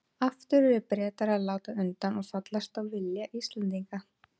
Aftur urðu Bretar að láta undan og fallast á vilja Íslendinga.